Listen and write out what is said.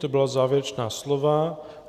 To byla závěrečná slova.